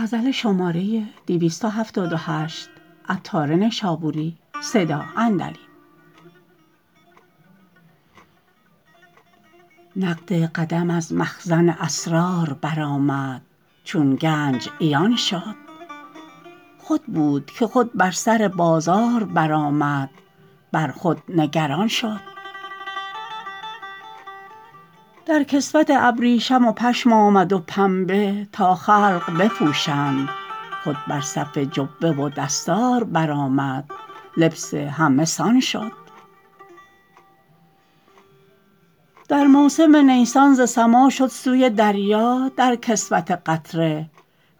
نقد قدم از مخزن اسرار برآمد چون گنج عیان شد خود بود که خود بر سر بازار برآمد بر خود نگران شد در کسوت ابریشم و پشم آمد و پنبه تا خلق بپوشند خود بر صفت جبه و دستار برآمد لبس همه سان شد در موسم نیسان ز سما شد سوی دریا در کسوت قطره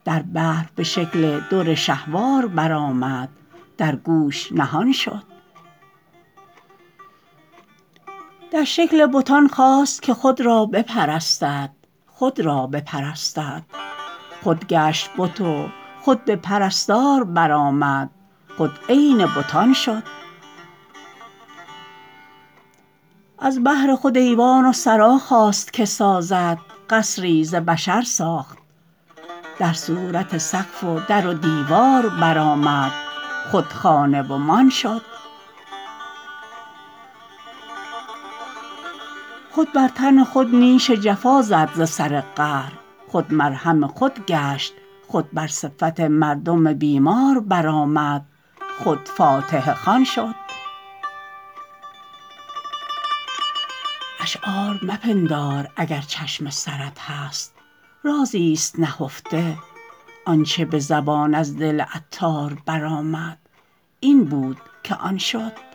در بحر به شکل در شهوار برآمد در گوش نهان شد در شکل بتان خواست که خود را بپرستد خود را بپرستد خود گشت بت و خود به پرستار برآمد خود عین بتان شد از بهر خود ایوان و سرا خواست که سازد قصری ز بشر ساخت در صورت سقف و در و دیوار برآمد خود خانه و مان شد خود بر تن خود نیش جفا زد ز سر قهر خود مرهم خود گشت خود بر صفت مردم بیمار برآمد خود فاتحه خوان شد اشعار مپندار اگر چشم سرت هست رازی است نهفته آنچه به زبان از دل عطار برآمد این بود که آن شد